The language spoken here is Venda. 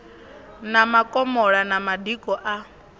na makomola na madiko a